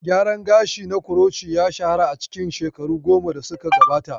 Gyaran gashi na kuroci ya shahara a cikin shekaru goma da suka gabata.